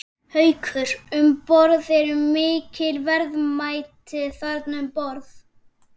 Haukur: Um borð, eru mikil verðmæti þarna um borð?